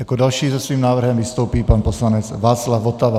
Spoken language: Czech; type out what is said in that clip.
Jako další se svým návrhem vystoupí pan poslanec Václav Votava.